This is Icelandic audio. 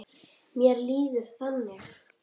Mér líður þannig.